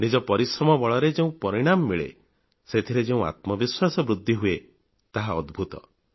ନିଜ ପରିଶ୍ରମ ବଳରେ ଯେଉଁ ପରିଣାମ ମିଳେ ସେଥିରେ ଯେଉଁ ଆତ୍ମବିଶ୍ବାସ ସୃଷ୍ଟି ହୁଏ ତାହା ଅଦ୍ଭୁତ